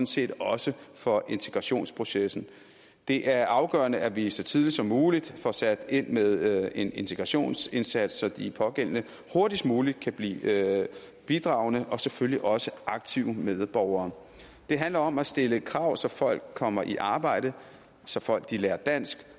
set også for integrationsprocessen det er afgørende at vi så tidligt som muligt får sat ind med en integrationsindsats så de pågældende hurtigst muligt kan blive bidragende og selvfølgelig også aktive medborgere det handler om at stille krav så folk kommer i arbejde så folk lærer dansk